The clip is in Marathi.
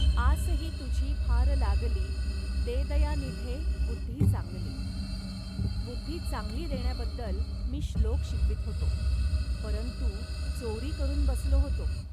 आस ही तुझी फार लागली.दे दयानिधे बुद्धि चांगली. बुद्धि चांगली देण्याबद्दल मी श्लोक शिकवीत होतो, परंतु चोरी करून बसलो होतो